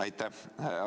Aitäh!